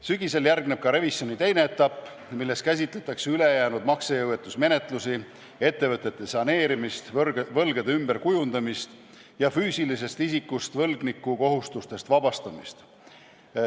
Sügisel järgneb revisjoni teine etapp, milles käsitletakse ülejäänud maksejõuetuse menetlusi, ettevõtete saneerimist, võlgade ümberkujundamist ja füüsilisest isikust võlgniku kohustustest vabastamist.